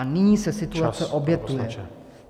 A nyní se situace opakuje.